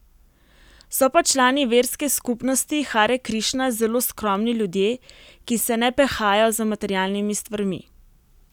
So pa člani verske skupnosti Hare Krišna zelo skromni ljudje, ki se ne pehajo za materialnimi stvarmi.